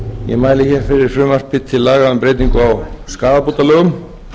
ég mæli hér fyrir frumvarpi til laga um breytingu á